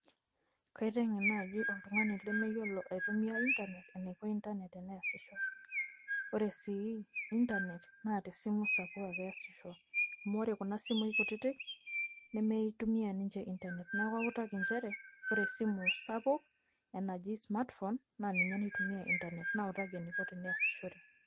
Kaiteng'en naji oltung'ani lemeyiolo aitumia Internet, enaiko Internet teneesisho. Ore sii Internet, naa tesimu sapuk ake easisho. Amu ore kuna simui kutitik, nemeitumia ninche Internet. Neeku autaki njere, ore esimu sapuk, enaji smartphone, naa ninye naitumia Internet. Nautaki eniko teneasishore.